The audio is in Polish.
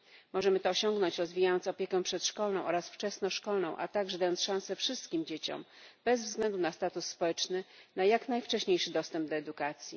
Możemy to osiągnąć, rozwijając opiekę przedszkolną oraz wczesnoszkolną, a także dając szansę wszystkim dzieciom, bez względu na status społeczny, na jak najwcześniejsze dostęp do edukacji.